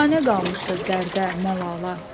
Biganə qalmışdı dərdə, məlala.